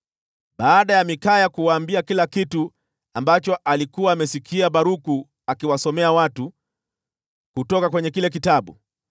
Baada ya Mikaya kuwaambia kila kitu ambacho alikuwa amesikia Baruku akiwasomea watu kutoka kwenye kile kitabu,